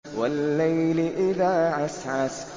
وَاللَّيْلِ إِذَا عَسْعَسَ